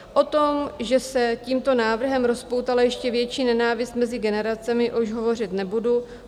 O tom, že se tímto návrhem rozpoutala ještě větší nenávist mezi generacemi, už hovořit nebudu.